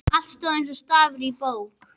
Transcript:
Allt stóð eins og stafur á bók.